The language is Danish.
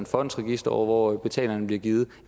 fondsregister og hvor betalingen bliver givet